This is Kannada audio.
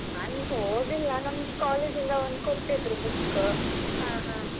ಹಾ ನಾನು ಓದಿಲ್ಲ ನಂಗೆ college ಇಂದ ಒಂದ್ ಕೊಟ್ಟಿದ್ರು book.